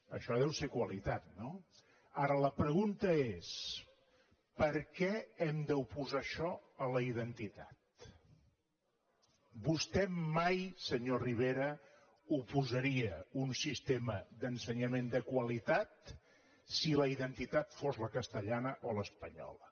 això deu ser qualitat no ara la pregunta és per què hem d’oposar això a la identitat vostè mai senyor rivera oposaria un sistema d’ensenyament de qualitat si la identitat fos la castellana o l’espanyola